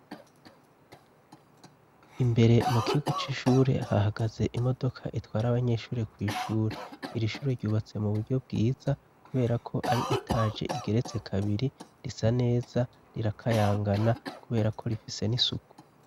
Imbere mu kigo c'ishure hahagaze imodoka itwara abanyeshure kw'ishure iri shure ryubatse mu buryo bwiza kubera ko ari etaje igeretse kabiri risa neza rirakayangana kubera ko rifise n'isuku.